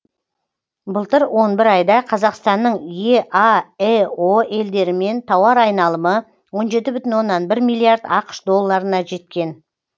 былтыр он бір айда қазақстанның еаэо елдерімен тауар айналымы он жеті бүтін оннан бір миллиард ақш долларына жеткен